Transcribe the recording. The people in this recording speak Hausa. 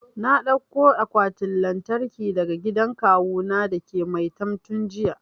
Na dauko akwatin lantarkin daga gidan kawu na dake maitam tun jiya